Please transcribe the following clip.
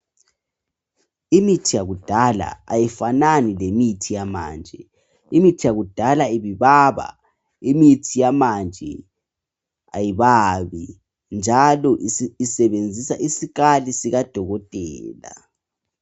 Imithi yakudala ayifanani lemithi yamanje. Imithi yakudala ibibaba, imithi yamanje ayibabi. Njalo isebenzisa isikali sikadokotela.